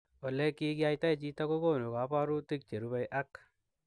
Olekikiyaitaa chitoo kokonuu kabarutiik cherubei ak